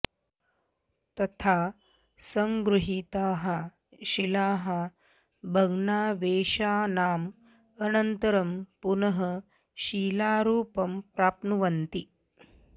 तथा सङ्गृहीताः शिलाः भग्नावशेषाणाम् अनन्तरं पुनः शिलारूपं प्राप्नुवन्ति